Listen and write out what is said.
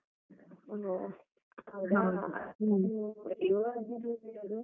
ಒಹೋ. ನೋಡು.